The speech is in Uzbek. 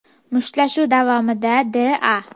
Mushtlashuv davomida D.A.